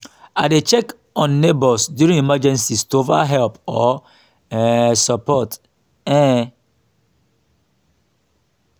i dey check on neighbors during emergencies to offer help or um support. um